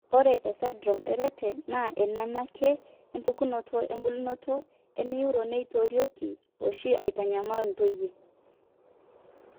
ore esindirom eRett naa eneanaake, empukunoto embulunoto eneuro neitorioki oshi aitanyamal intoyie.